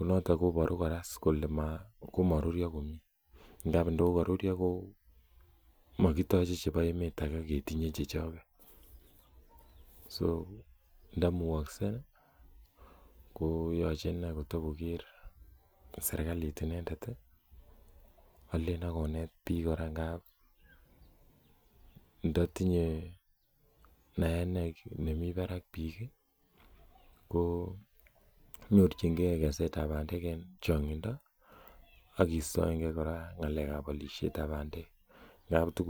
noton kobaru kole komarurio komie Ako makitache chebo emet age ketinye chechuak so nda mugakse ko yachei kokakoker serkalit inendet ih akotokonet bik ngab ndatinye naet nemi barak bik ko nyorchinige kesetab bandek en chang'into siistaege ng'alekab alishetab bandek